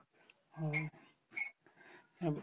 এব